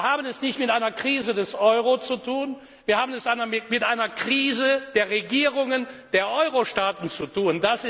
Wir haben es nicht mit einer Krise des Euro zu tun wir haben es mit einer Krise der Regierungen der Eurostaaten zu